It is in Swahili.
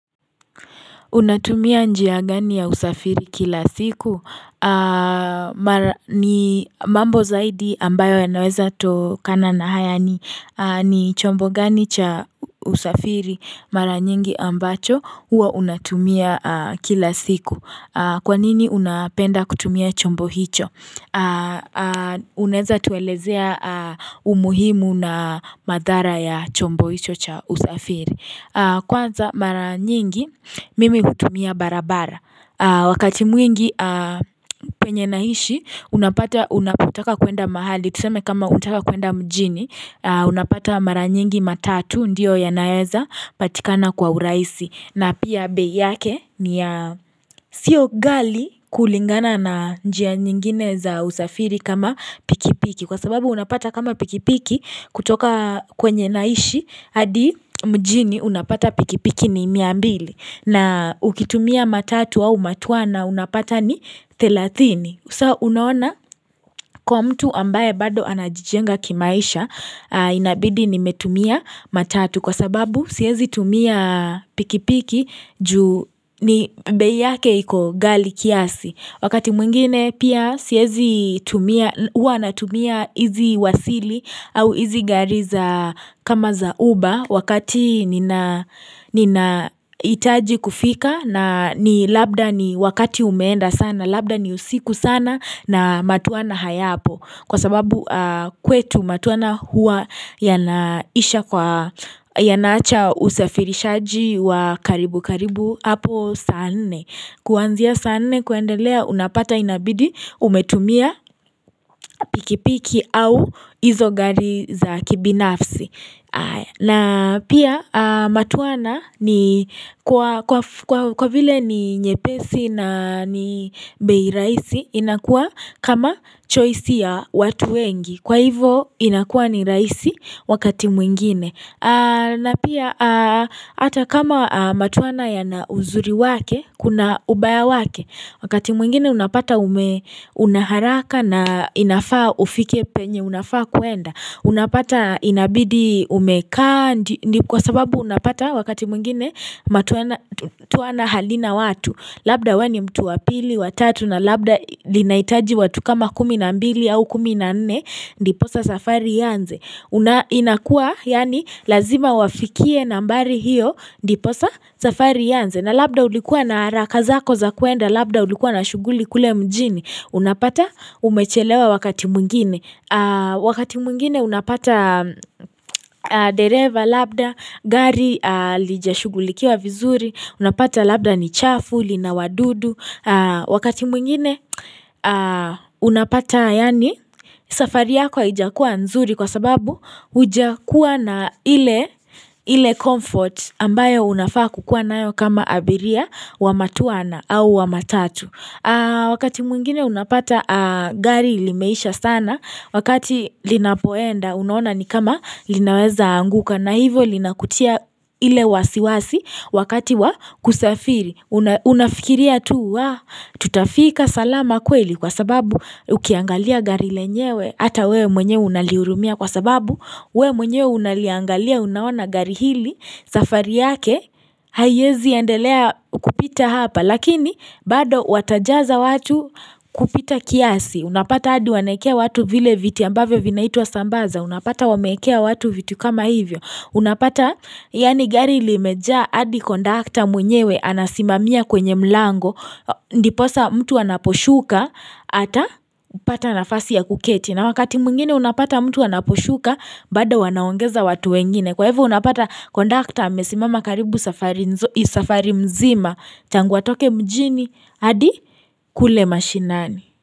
Unatumia njia gani ya usafiri kila siku? Mambo zaidi ambayo ya naweza to kana na haya ni ni chombo gani cha usafiri mara nyingi ambacho huwa unatumia kila siku. Kwanini unapenda kutumia chombo hicho? Unaeza tuelezea umuhimu na madhara ya chombo hicho cha usafiri. Kwanza mara nyingi mimi hutumia barabara Wakati mwingi penye naishi unapata unapotaka kuenda mahali Tuseme kama unataka kuenda mjini unapata mara nyingi matatu ndio ya naeza patikana kwa uraisi na pia bei yake ni ya sio gali kulingana na njia nyingine za usafiri kama pikipiki Kwa sababu unapata kama pikipiki kutoka kwenye naishi hadi mjini unapata pikipiki ni miambili na ukitumia matatu au matwana unapata ni thelathini Usa unaona kwa mtu ambaye bado anajijenga kimaisha Inabidi ni metumia matatu Kwa sababu siezi tumia pikipiki juu ni bei yake iko ghali kiasi Wakati mwingine pia siezi tumia uwa na tumia izi wasili au izi gariza kama za uba wakati nina nina itaji kufika na ni labda ni wakati umeenda sana labda ni usiku sana na matwana hayapo kwa sababu kwetu matwana huwa ya na isha kwa ya naacha usafirishaji wa karibu karibu hapo sanne Kuanzia sanne kuendelea unapata inabidi umetumia pikipiki au izogari za kibinafsi. Na pia matwana ni kwa kwaf kwa vile ni nyepesi na ni beiraisi inakua kama choisi ya watu wengi. Kwa hivo inakua ni raisi wakati mwingine. Na pia hata kama matwana ya na uzuri wake Kuna ubaya wake Wakati mwingine unapata ume unaharaka na inafaa ufike penye Unafaa kuenda Unapata inabidi umekaa Kwa sababu unapata wakati mwingine matwana twana halina watu Labda weni mtu wa pili wa tatu na labda linaitaji watu kama kuminambili au kuminanne Ndiposa safari ianze una inakua yani lazima wafikie nambari hiyo ndiposa safari ianze na labda ulikuwa na arakazako za kuenda labda ulikuwa na shuguli kule mjini Unapata umechelewa wakati mwingine Wakati mwingine unapata dereva labda gari lija shugulikiwa vizuri Unapata labda ni chafu lina wadudu Wakati mwingine unapata yani safari yako haijakua nzuri kwa sababu Uja kuwa na ile comfort ambayo unafaa kukua nayo kama abiria wa matwana au wa matatu Wakati mwingine unapata gari limeisha sana Wakati linapoenda unaona ni kama linaweza anguka na hivo linakutia ile wasiwasi wakati wa kusafiri una Unafikiria tu wa tutafika salama kweli kwa sababu ukiangalia gari lenyewe Ata we mwenyewe unaliurumia kwa sababu We mwenyewe unaliangalia unaona gari hili safari yake Haiezi endelea kupita hapa Lakini bado watajaza watu kupita kiasi Unapata adi wanaekea watu vile viti ambavyo vinaitwa sambaza Unapata wameekea watu viti kama hivyo Unapata yani gari limeja adi kondakta mwenyewe Anasimamia kwenye mlango Ndiposa mtu anaposhuka Ata pata nafasi ya kuketi na wakati mwingine unapata mtu anaposhuka bado wanaongeza watu wengine. Kwa hivo unapata kondakta amesimama karibu safari mzima. Tangu atoke mjini hadi kule mashinani.